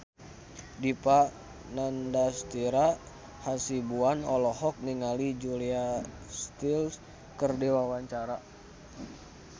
Dipa Nandastyra Hasibuan olohok ningali Julia Stiles keur diwawancara